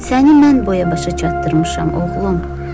Səni mən boya-başa çatdırmışam, oğlum.